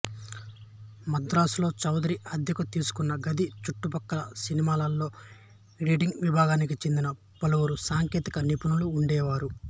మద్రాసులో చౌదరి అద్దెకు తీసుకున్న గది చుట్టుపక్కల సినిమాలో ఎడిటింగ్ విభాగానికి చెందిన పలువురు సాంకేతిక నిపుణులు ఉండేవారు